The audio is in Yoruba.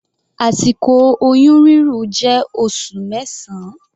Àsìkò oyún rírùn jẹ́ oṣù mẹsan.